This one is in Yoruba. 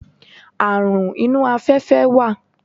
Àrun inú afẹ́fẹ́ wà.